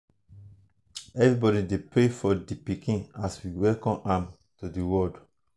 everybody dey pray for di pikin as we welcome am to the world.